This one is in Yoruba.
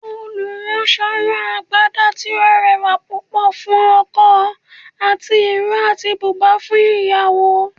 oluranso rán Àgbadá tí o rẹwà púpò fún ọkò ati iro atí bùbá fún ìyàwó.